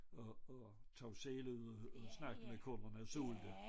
Og og tog selv ud og snakkede med kunderne og solgte